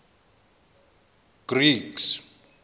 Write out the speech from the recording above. greeks